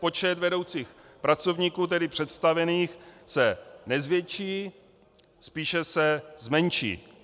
Počet vedoucích pracovníků, tedy představených, se nezvětší, spíše se zmenší.